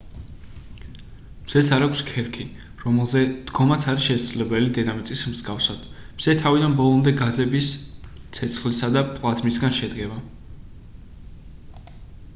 მზეს არ აქვს ქერქი რომელზე დგომაც არის შესაძლებელი დედამიწის მსგავსად მზე თავიდან ბოლომდე გაზების ცეცხლისა და პლაზმისგან შედგება